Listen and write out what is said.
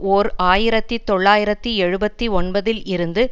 ஓர் ஆயிரத்தி தொள்ளாயிரத்தி எழுபத்து ஒன்பதில் இருந்து